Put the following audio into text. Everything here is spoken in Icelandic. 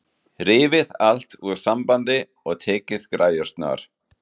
Rifið allt úr sambandi og tekið græjurnar.